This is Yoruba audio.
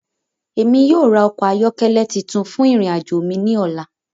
Emi yóò ra ọkọ ayọkẹlẹ titun fun irin ajo mi ni ọla.